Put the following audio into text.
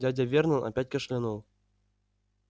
дядя вернон опять кашлянул